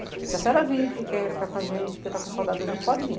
Se a senhora vir, porque quer ficar com a gente, porque está com saudade da gente, pode vir.